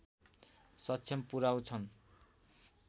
समक्ष पुर्‍याउँछन्